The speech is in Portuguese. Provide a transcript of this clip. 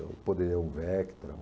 Eu poderia um Vectra. Um...